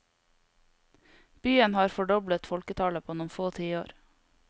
Byen har fordoblet folketallet på noen få tiår.